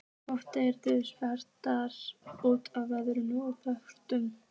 Oft deyr samtalið út og verður að þögn.